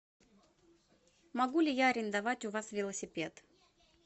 могу ли я арендовать у вас велосипед